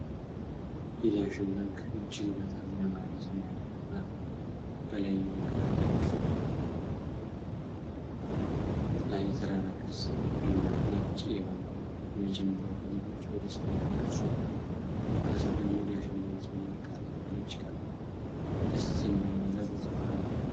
የዳሽን ባንክ እጅግ በጣም ያማረ ሰማያዊ አርማ ነው። በላይኛው ግራ ጥግ ላይ የተራራ ቅርጽ እና ነጭ የባንኩ የመጀመሪያ ፊደሎች በደስታ የተቀረጹ ናቸው። ከስር ደግሞ "ዳሽን ባንክ" የሚል ቃላት በነጭ ቀለም ደስ በሚል ሁኔታ ተጽፈዋል።